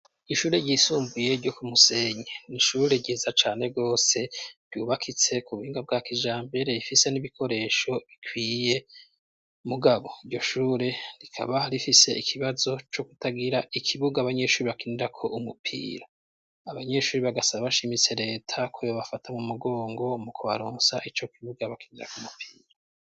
Ishure ryisumbuye ryo ku Musenye, n'ishure ryiza cane gose ryubakitse ku buhinga bwa kijambere ifise n'ibikoresho bikwiye mugabo iryo shure rikaba rifise ikibazo co kutagira ikibuga abanyeshure bakinirako umupira, abanyeshure bagasaba bashimitse leta ko yobafata mu mugongo mu kubaronsa ico kibuga bakinirako umupira.